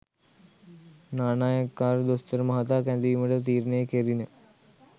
නානායක්කාර දොස්තර මහතා කැදවීමට තීරණය කෙරිණ